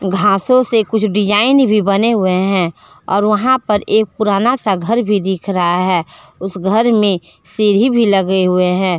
घासों से कुछ डिजाइन भी बने हुए हैं और वहां पर एक पुराना सा घर भी दिख रहा है उस घर में सीढ़ी भी लगे हुए हैं।